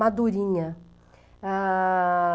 Madurinha. Ah...